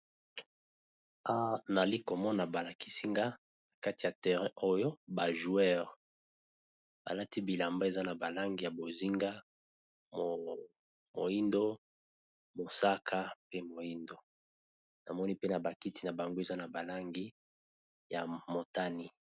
Naza komona balakisinga na kati ya terrain oyo bajoueure balati bilamba eza na balangi ya bozinga moindo mosaka pe moindo namoni mpe na bakiti na bango eza na balangi ya motani.